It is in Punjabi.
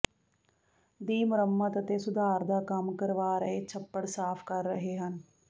ਦੀ ਮੁਰੰਮਤ ਅਤੇ ਸੁਧਾਰ ਦਾ ਕੰਮ ਕਰਵਾ ਰਹੇ ਛੱਪੜ ਸਾਫ਼ ਕਰ ਰਹੇ ਹਨ